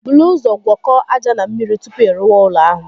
Buru ụzọ gwọkọọ aja na mmiri tupu ị rụwa ụlọ ahụ